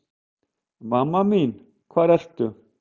Mamma mín hvar ertu?